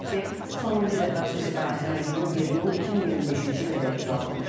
Qeyd edək ki, sonuncu dəfə xüsusi karantin rejimi 1 iyul 2025-ci ilədək uzadılmışdı.